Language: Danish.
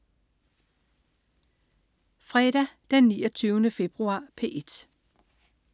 Fredag den 29. februar - P1: